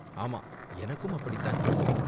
ஆமா, எனக்கும் அப்படி தான் தோணுது.